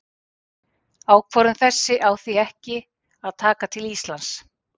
Ákvörðun þessi á því ekki að taka til Íslands.